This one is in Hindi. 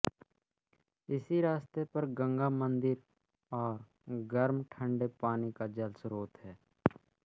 इसी रास्ते पर गंगामन्दिर है और गर्मठंडे पानी के जलस्त्रोत है